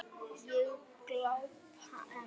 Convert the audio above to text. Ég glápi enn.